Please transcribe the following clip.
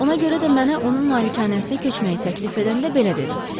Ona görə də mənə onun malikanəsinə köçməyi təklif edəndə belə dedim: